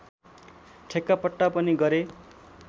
ठेक्कापट्टा पनि गरे